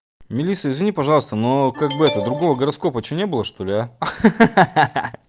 мелисса извини пожалуйста но как бы это другого гороскопа что не было что ли а ха-ха